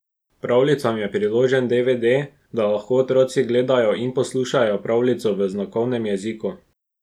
Pravljicam je priložen dvd, da lahko otroci gledajo in poslušajo pravljico v znakovnem jeziku.